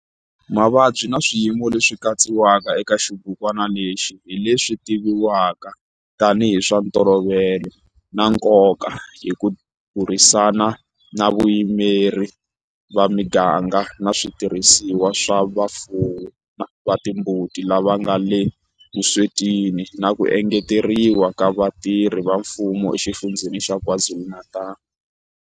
Mavabyi na swiyimo leswi katsiwaka eka xibukwana lexi hi leswi tivivwaka tanihi hi swa ntolovelo na nkoka hi ku burisana na vayimeri va miganga na switirhisiwa swa vafuwi va timbuti lava nga le vuswetini na ku engeteriwa ka vatirhi va mfumo eXifundzheni xa KwaZulu-Natal.